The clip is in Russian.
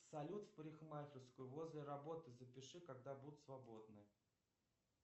салют в парикмахерскую возле работы запиши когда будут свободны